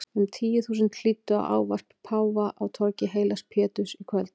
Um tíu þúsund hlýddu á ávarp páfa á torgi heilags Péturs í kvöld.